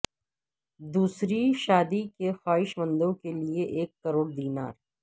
دوسری شادی کے خواہشمندوں کے لیئے ایک کروڑ دینار